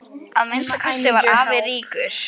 Að minnsta kosti var afi ríkur.